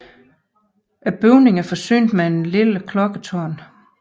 Bygningen er forsynet med et lille klokketårn